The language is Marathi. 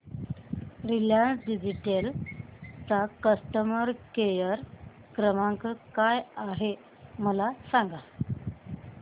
रिलायन्स डिजिटल चा कस्टमर केअर क्रमांक काय आहे मला सांगा